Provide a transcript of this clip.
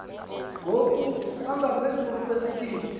ngoku bangaphezulu kwezigidi